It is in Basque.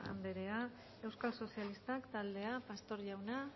anderea euskal sozialistak taldea pastor jauna